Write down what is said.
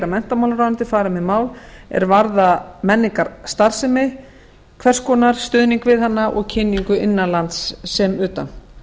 menntamálaráðuneytið fari með mál er varða menningarstarfsemi hvers konar stuðning við hana og kynningu innan lands sem utan